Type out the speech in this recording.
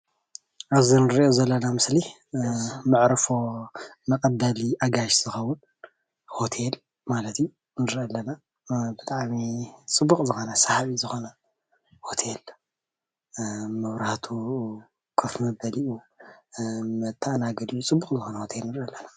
ኣብዚ እንሪኦ ዘለና ምስሊ መዕርፎ መቀበሊ አጋይሽ ዝኸውን ሆቴል ማለት እዩ ንርኢ ኣለና። ብጣዕሚ ፅቡቅ ዝኾነ ሰሓቢ ዝኾነ ሆቴል መብራህቱ፣ ኮፍ መበሊኡ፣ መተኣናገዲኡ ፅቡቅ ዝኮነ ሆቴል ንርኢ ኣሐና።